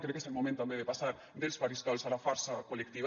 crec que és el moment també de passar dels faristols a la força col·lectiva